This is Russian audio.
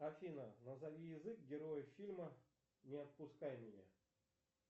афина назови язык героев фильма не отпускай меня